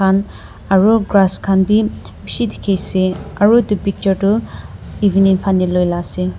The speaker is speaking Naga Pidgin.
aru grass khan bi bishi dikhiase aru edu picture tu evening fanae loila ase.